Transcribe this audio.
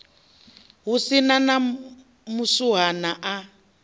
hu si na muswuhana a